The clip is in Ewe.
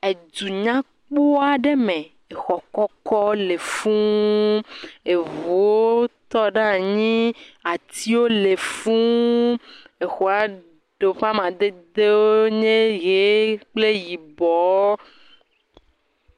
Edu nya kpɔ aɖe me. Xɔ kɔkɔwo le fũu. Eŋuwo tɔ ɖe anyi. Atiwo le fũu. exɔa ɖewo ƒe amadedewo nye ʋee kple yibɔɔ.